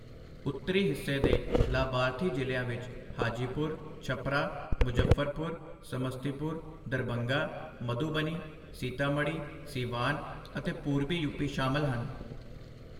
ਉੱਤਰੀ ਹਿੱਸੇ ਤੇ ਲਾਭਾਰਥੀ ਜ਼ਿਲ੍ਹਿਆਂ ਵਿੱਚ ਹਾਜੀਪੁਰ, ਛਪਰਾ, ਮੁਜ਼ੱਫਰਪੁਰ, ਸਮਸਤੀਪੁਰ, ਦਰਭੰਗਾ, ਮਧੁਬਨੀ, ਸੀਤਾਮੜ੍ਹੀ, ਸੀਵਾਨ ਅਤੇ ਪੂਰਬੀ ਯੂਪੀ ਸ਼ਾਮਿਲ ਹਨ।